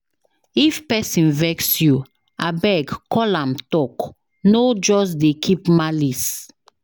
If pesin vex you, abeg call am talk, no just dey keep malice.